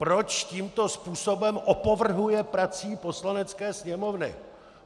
Proč tímto způsobem opovrhuje prací Poslanecké sněmovny!